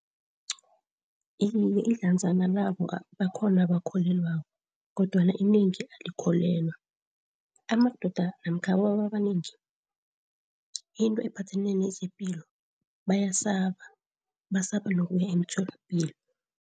Iye, ihlanzana labo bakhona abakholelwako kodwana inengi alikholelwa. Amadoda namkha abobaba abanengi into ephathelene nezepilo bayasaba, basaba nokuya emtholapilo.